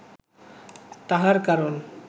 তাহার কারণ